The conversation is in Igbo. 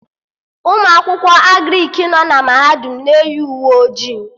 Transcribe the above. Ụmụ akwụkwọ Agrịk nọ na mahadum m na-eyi uwe ojii